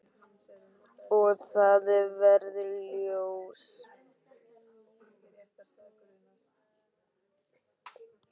Og það varð ljós.